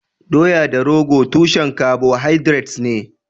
Doya da rogo tushen carbohydrates ne.